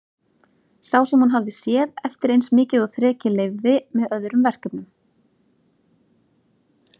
Sá sem hún hafði séð eftir eins mikið og þrekið leyfði, með öðrum verkefnum.